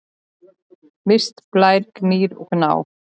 Mist, Blær, Gnýr og Gná.